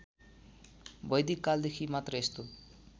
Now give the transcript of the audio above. वैदिककालदेखि मात्र यस्तो